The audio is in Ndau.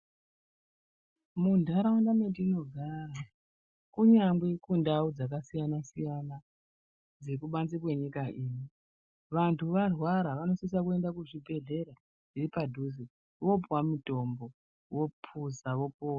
Mundaraunda matinogara kunyangwe kundawu dzakasiyana siyana dzekubanze kwenyika yedu vantu varwara vanosise kuenda kuzvibhedhleya zviri padhuze voopiwa mutombo vopuza vopona.